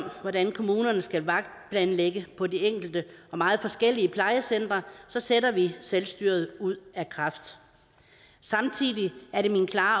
hvordan kommunerne skal vagtplanlægge på de enkelte og meget forskellige plejecentre sætter vi selvstyret ud af kraft samtidig er det min klare